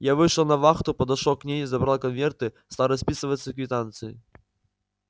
я вышел на вахту подошёл к ней забрал конверты стал расписываться в квитанции